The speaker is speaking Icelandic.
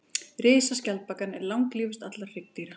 Risaskjaldbakan er langlífust allra hryggdýra.